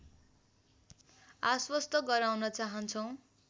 आश्वस्त गराउन चाहन्छौँ